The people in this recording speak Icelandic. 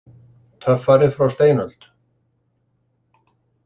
Töffari frá steinöld!